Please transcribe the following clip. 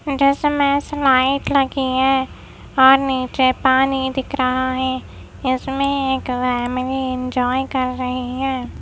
जिसमें स्लाईड लगी है और नीचे पानी दिख रहा है इसमे एक फेमिली एंजॉय कर रही है।